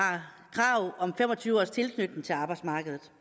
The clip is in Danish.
krav om fem og tyve års tilknytning til arbejdsmarkedet